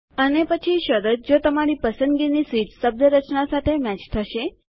અને પછી શરત જો તમારી પસંદગીની સ્વીચ શબ્દરચના એક્સપ્રેશન સાથે મેચ થશે